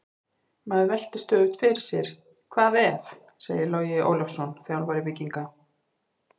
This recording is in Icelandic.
Maður veltir stöðugt fyrir sér: Hvað ef? segir Logi Ólafsson, þjálfari Víkinga.